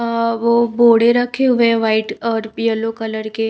अ वो बोड़े रखे हुए व्हाइट और येलो कलर के--